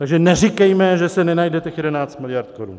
Takže neříkejme, že se nenajde těch 11 miliard korun.